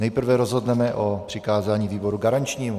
Nejprve rozhodneme o přikázání výboru garančnímu.